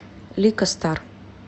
лика стар